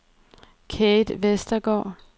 Kate Vestergaard